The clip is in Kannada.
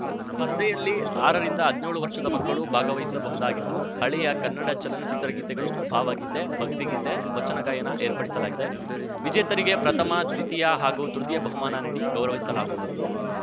ಸ್ಪರ್ಧೆಯಲ್ಲಿ ಆರರಿಂದಹದ್ನೇಳು ವರ್ಷದ ಮಕ್ಕಳು ಭಾಗವಹಿಸಬಹುದಾಗಿದ್ದು ಹಳೆಯ ಕನ್ನಡ ಚಲನಚಿತ್ರಗೀತೆಗಳು ಭಾವಗೀತೆ ಭಕ್ತಿಗೀತೆ ವಚನ ಗಾಯನ ಏರ್ಪಡಿಸಲಾಗಿದೆ ವಿಜೇತರಿಗೆ ಪ್ರಥಮ ದ್ವಿತೀಯ ಹಾಗೂ ತೃತೀಯ ಬಹುಮಾನ ನೀಡಿ ಗೌರವಿಸಲಾಗುವುದು